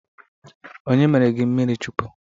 Onye mere gị mmiri Chukwu?